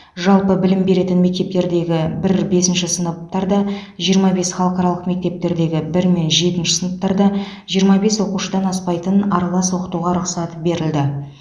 жалпы білім беретін мектептердегі бір бесінші сыныптарда жиырма бес халықаралық мектептердегі бір мен жетінші сыныптарда жиырма бес оқушыдан аспайтын аралас оқытуға рұқсат берілді